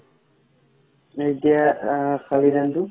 এতিয়া আ ধানটো